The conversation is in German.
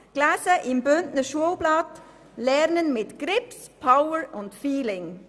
Im Bündner Schulblatt hiess dies «Lernen mit Grips, Power und Feeling».